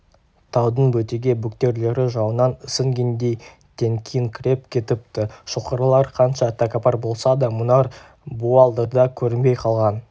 таудың бөтеге бөктерлері жауыннан ісінгендей теңкиіңкіреп кетіпті шоқылар қанша тәкаппар болса да мұнар буалдырда көрінбей қалған